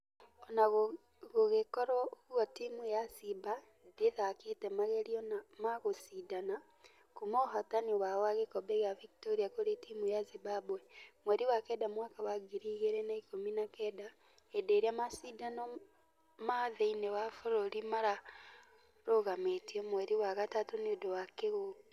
Ona gũgĩkũrwo ũguo timũ ya simba ndĩthakĩte magerio ma gũshidana kuuma ũhotani wao wa gĩkobe gĩa victoria kũrĩ timũ ya Zimbabwe. Mweri wa kenda mwaka wa ngiri igĩrĩ na ikũmi na kenda hĩndĩ ĩrĩa mashĩdano ma thĩinĩ wa bũrũri mararũgamĩtio mweri wa gatatũ nĩũndũ wa kĩng'uki.